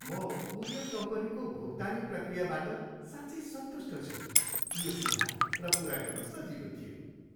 म कुरियर कम्पनीको भुक्तानी प्रक्रियाबाट साँच्चै सन्तुष्ट छु। यो सिधा र पुरा गर्न सजिलो थियो।